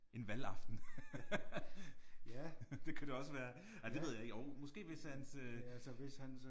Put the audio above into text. En valgaften det kunne det også være ej det ved jeg ikke jo måske hvis hans øh